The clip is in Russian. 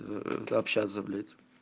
общаться блять